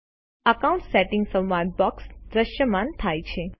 accounts settings સંવાદ box દ્રશ્યમાન થાય છે